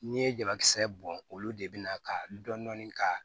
N'i ye jabakisɛ bɔn olu de bina ka dɔni ka